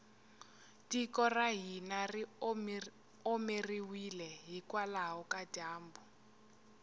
tiko ra hina ri omeriwile hikwalaho ka dyambu